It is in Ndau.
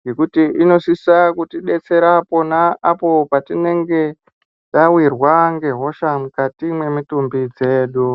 ngekuti inosisa kutidetsera ,pona apo patinenge tawirwa ngehosha, mukati mwemitumbi dzedu.